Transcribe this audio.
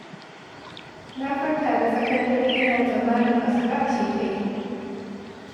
Na farka da tsakar dare ina tsammanin asuba ce ta yi